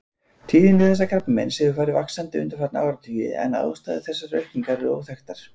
Tíðni þessa krabbameins hefur farið vaxandi undanfarna áratugi en ástæður þessarar aukningar eru óþekktar.